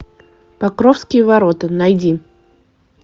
покровские ворота найди